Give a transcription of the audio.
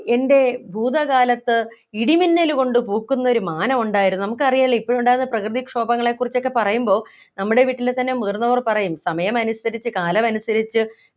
എൻ്റെ ഭൂതക്കലത്ത് ഇടിമിന്നല് കൊണ്ട് പൂക്കുന്നൊരു മാനമുണ്ടായിരുന്നു നമുക്കറിയാലോ ഇപ്പോഴുണ്ടാകുന്ന പ്രകൃതിക്ഷോഭങ്ങളെക്കുറിച്ചൊക്കെ പറയുമ്പോ നമ്മുടെ വീട്ടിലെ തന്നെ മുതിർന്നവർ പറയും സമയമനുസരിച് കാലമനുസരിച്ചു